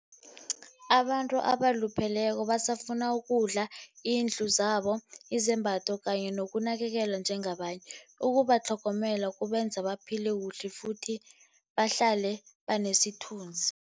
Abantu abalupheleko basafuna ukudla, izindlu zabo, izembatho, kanye nokunakelelwa njengabanye. Ukubatlhogomela kubenza baphile kuhle, futhi bahlale banesithunzi.